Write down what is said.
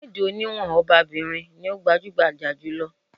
Bẹ́ẹ̀dì oníwọ̀n ọba-bìrin ní o gbajúgbajà jù lọ.